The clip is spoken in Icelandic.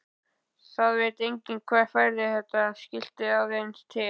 Það veit enginn hver færði þetta skilti aðeins til.